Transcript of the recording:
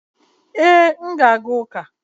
ee, m na-aga uka